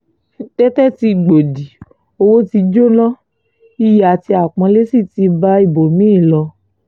tètè tí gbòdì owó tí jóná iyì àti àpọ́nlé sí ti bá ibòmí-ì ń lọ